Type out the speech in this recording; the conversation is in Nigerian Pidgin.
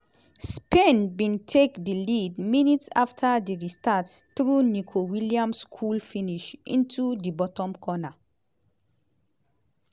spain bin take di lead minutes afta di restart through nico williams cool finish into di bottom corner.